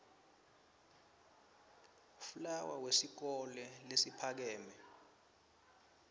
fleur wesikole lesiphakeme